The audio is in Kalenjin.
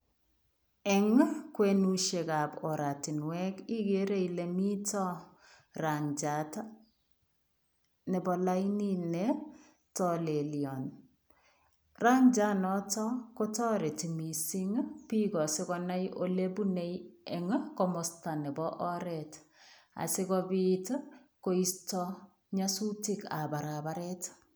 Eng kwenusiek ab oratinweek igere Ile mitaa rangiat nebo lainit ne talelian , rangiat notoon ko taretii biik asikonai kole kimine en komostaa nebo oret asikobiit ii koistaa nyasutiik ab barabareet.